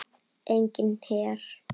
Enginn her.